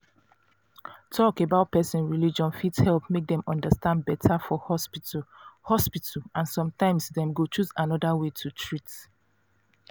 talk about person religion fit help make dem understand better for hospital hospital and sometimes dem go choose another way to treat